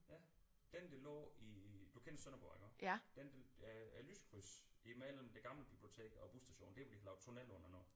Ja den der lå i du kender Sønderborg iggå den øh lyskrydset imellem det gamle bibliotek og busstationen der hvor de har lavet tunnel under nu